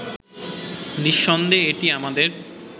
নিঃসন্দেহে এটি আমাদের